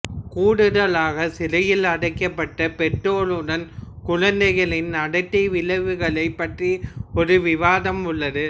கூடுதலாக சிறையில் அடைக்கப்பட்ட பெற்றோருடன் குழந்தைகளின் நடத்தை விளைவுகள் பற்றிய ஒரு விவாதம் உள்ளது